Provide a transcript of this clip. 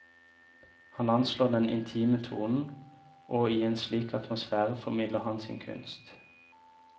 Han anslår den intime tonen, og i en slik atmosfære formidler han sin kunst.